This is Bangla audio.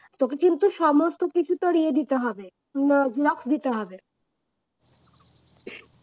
তোকে কিন্তু সমস্ত কিছু ইয়ে দিতে হবে না block দিতে হবে